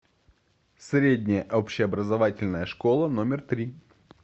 средняя общеобразовательная школа номер три